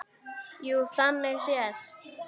Jú, þannig séð.